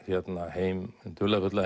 hinn dularfulla